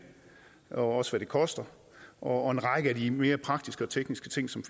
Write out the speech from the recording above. og også hvad det koster og en række af de mere praktiske og tekniske ting som